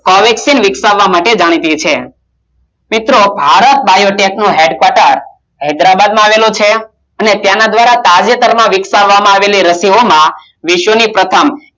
કોલકાતિક વિકસાવવા માટે જાણીતી છે મિત્રો ભારત માં બોઇગેટનો હેડકવોટર હૈદરાબાદ માં આવેલો છે અને તેના દ્રારા તાજેતરમાં વિકસાવતા માં આવેલી રશિઓમાં વિશ્વની પરતં